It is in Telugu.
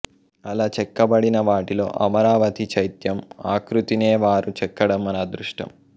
అలా చెక్కబడినవాటిలో అమరావతి చైత్యం ఆకృతినే వారు చెక్కడం మన అదృష్టం